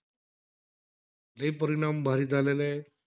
लई परिणाम भारी झालेलेयं.